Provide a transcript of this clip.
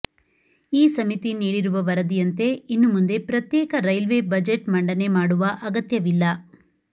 ಈ ಸಮಿತಿ ನೀಡಿರುವ ವರದಿಯಂತೆ ಇನ್ನು ಮುಂದೆ ಪ್ರತ್ಯೇಕ ರೈಲ್ವೆ ಬಜೆಟ್ ಮಂಡನೆ ಮಾಡುವ ಅಗತ್ಯವಿಲ್ಲ